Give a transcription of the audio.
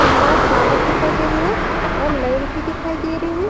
खम्भा टावर दिखाई दे रहे है और लड़ भी दिखाई दे रहे है।